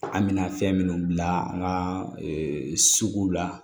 An bɛna fɛn minnu bila an ka sugu la